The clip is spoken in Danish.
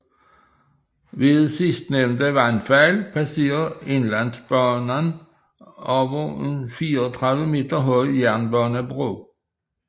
Ved sidstnævnte vandfald passerer Inlandsbanan over en 34 meter høj jernbanebro